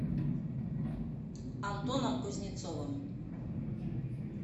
антоном кузнецовым